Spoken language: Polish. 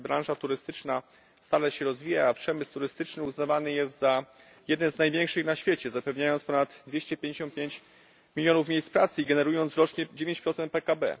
Branża turystyczna stale się rozwija, a przemysł turystyczny uznawany jest za jeden z największych na świecie, zapewniając ponad 255 milionów miejsc pracy i generując rocznie 9 PKB.